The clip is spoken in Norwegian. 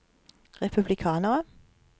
republikanere